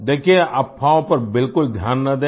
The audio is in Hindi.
देखिये अफ़वाहों पर बिल्कुल ध्यान न दें